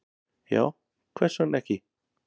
Já, hvers vegna ekki?